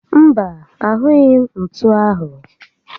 Mba, ahụghị m ntú áhụ̀